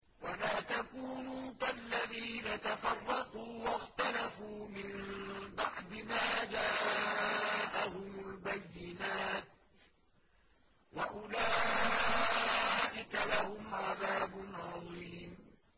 وَلَا تَكُونُوا كَالَّذِينَ تَفَرَّقُوا وَاخْتَلَفُوا مِن بَعْدِ مَا جَاءَهُمُ الْبَيِّنَاتُ ۚ وَأُولَٰئِكَ لَهُمْ عَذَابٌ عَظِيمٌ